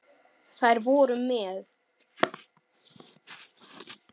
Þær voru með